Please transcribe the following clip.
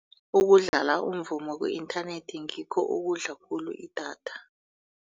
Ukudlala umvumo ku-inthanethi ngikho okudla khulu idatha.